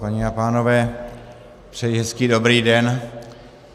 Paní a pánové, přeji hezký dobrý den.